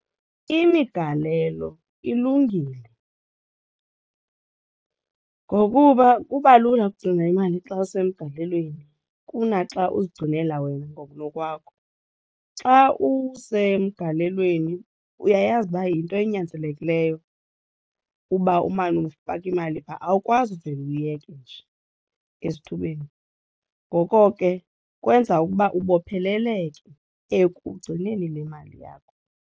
Imigalelo ilungile ngokuba kuba lula ukugcina imali xa usemgalelweni kunaxa uzigcinela wena ngokunokwakho. Xa usemgalelweni uyayazi uba yinto enyanzelekileyo uba umane ufaka imali phaa awukwazi uvele uwuyeke nje esithubeni. Ngoko ke kwenza ukuba ubopheleleke ekugcineni le mali yakho.